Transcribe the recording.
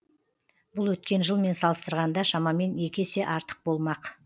бұл өткен жылмен салыстырғанда шамамен екі есе артық болмақ